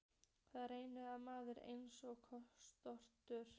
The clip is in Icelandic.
Það rennur af manni eins og skot.